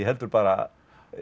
heldur bara